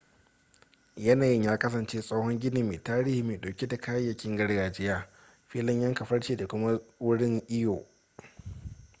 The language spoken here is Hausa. yanayin ya kasance tsohon gini mai tarihi mai dauke da kayayyakin gargajiya filin yanka farce da kuma wurin iyo